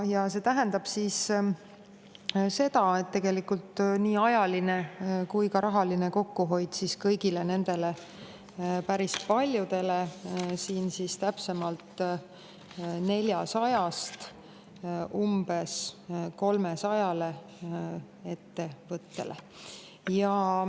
Ja see tähendab tegelikult nii ajalist kui ka rahalist kokkuhoidu päris paljudele, täpsemalt 400-st umbes 300 ettevõttele.